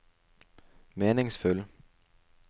meningsfull